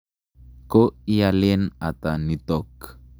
Ko ialen ata nitok?